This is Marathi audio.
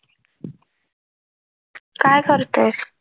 काय करतोयस?